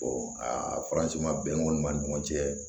aa faransi ma bɛn o ma ni ɲɔgɔn cɛ